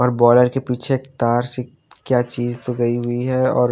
और बॉयलर के पीछे तार से क्या चीज तो गई हुई है और--